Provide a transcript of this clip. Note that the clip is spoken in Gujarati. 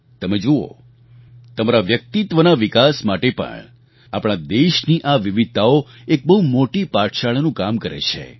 તમે જુઓ તમારા વ્યક્તિત્વના વિકાસ માટે પણ આપણા દેશની આ વિવિધતાઓ એક બહુ મોટી પાઠશાળાનું કામ કરે છે